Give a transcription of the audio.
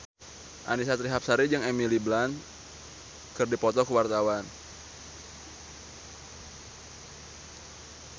Annisa Trihapsari jeung Emily Blunt keur dipoto ku wartawan